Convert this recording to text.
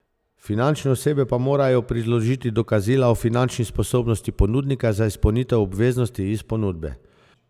Fizične osebe pa morajo priložiti dokazila o finančni sposobnosti ponudnika za izpolnitev obveznosti iz ponudbe.